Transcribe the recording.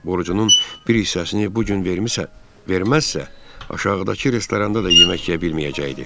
Borcunun bir hissəsini bu gün vermirsə, verməzsə, aşağıdakı restoranda da yemək yeyə bilməyəcəkdi.